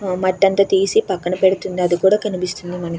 మట్టి అంతా తీసి పక్కన పెడుతుంది అది కూడ కనిపిస్తుంది మనకి.